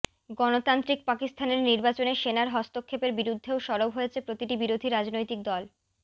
গণতান্ত্রিক পাকিস্তানের নির্বাচনে সেনার হস্তক্ষেপের বিরুদ্ধেও সরব হয়েছে প্রতিটি বিরোধী রাজনৈতিক দল